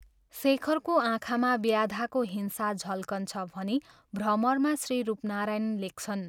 शेखरको आँखामा व्याधाको हिंसा झल्कन्छ भनी भ्रमरमा श्री रूपनारायण लेख्छन्।